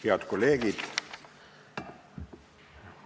Head kolleegid!